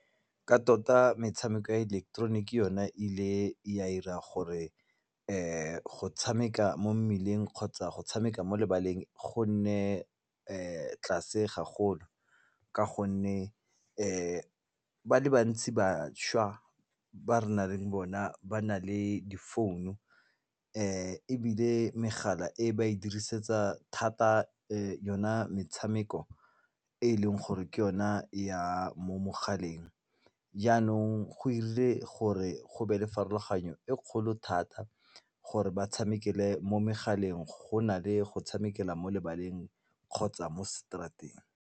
Ka tota metshameko ya ileketeroniki yone e ile ya 'ira gore go tshameka mo mmeleng kgotsa go tshameka mo lebaleng gonne tlase gagolo ka gonne ba le bantsi bašwa ba re naleng bona ba na le difounu ebile megala e ba e dirisetsa thata yona metshameko e leng gore ke yona ya mo mogaleng jaanong go dirile gore go be le pharologanyo e kgolo thata gore ba tshamekele mo megaleng go na le go tshamekela mo lebaleng kgotsa mo straat-eng.